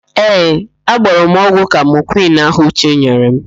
Ee, agbọrọ m ọgwụ kamokwịn ahụ Uche nyere m.